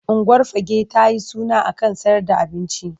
Unguwar Fagge ta yi suna a kan sayer da abinci.